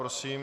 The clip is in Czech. Prosím.